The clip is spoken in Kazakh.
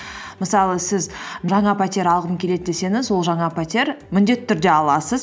мысалы сіз жаңа пәтер алғым келеді десеңіз ол жаңа пәтер міндетті түрде аласыз